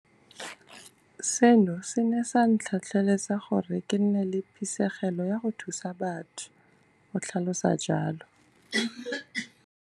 Seno se ne sa ntlhotlheletsa gore ke nne le phisegelo ya go thusa batho, o tlhalosa jalo.